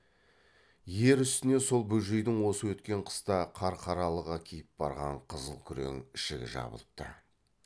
ер үстіне сол бөжейдің осы өткен қыста қарқаралыға киіп барған қызыл күрең ішігі жабылыпты